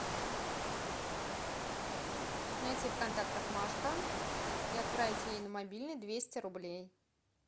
найти в контактах машка и отправить ей на мобильный двести рублей